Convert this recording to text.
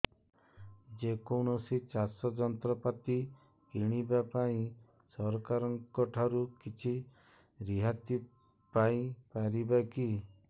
ଯେ କୌଣସି ଚାଷ ଯନ୍ତ୍ରପାତି କିଣିବା ପାଇଁ ସରକାରଙ୍କ ଠାରୁ କିଛି ରିହାତି ପାଇ ପାରିବା କି